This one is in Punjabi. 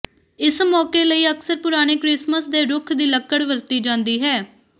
ਇਸ ਮੌਕੇ ਲਈ ਅਕਸਰ ਪੁਰਾਣੇ ਕ੍ਰਿਸਮਸ ਦੇ ਰੁੱਖ ਦੀ ਲੱਕੜ ਵਰਤੀ ਜਾਂਦੀ ਹੈ